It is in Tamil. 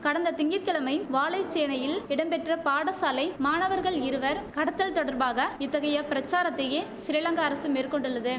கடந்த திங்க கிழமை வாழைச்சேனையில் இடம்பெற்ற பாடசாலை மாணவர்கள் இருவர் கடத்தல் தொடர்பாக இத்தகைய பிரச்சாரத்தையே சிறிலங்கா அரசு மேற்கொண்டுள்ளது